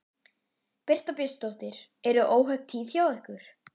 Birta Björnsdóttir: Eru óhöpp tíð hjá ykkur?